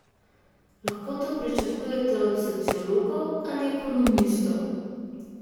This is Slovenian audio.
Lahko to pričakujete od sociologov ali ekonomistov?